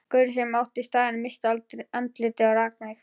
Gaurinn sem átti staðinn missti andlitið og rak mig.